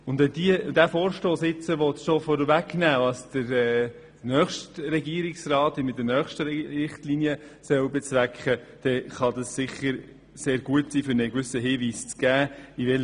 Wenn dieser Vorstoss nun bereits vorwegnehmen will, was der nächste Regierungsrat mit seinen Richtlinien bezwecken soll, dann kann das sicher sehr gute Hinweise geben.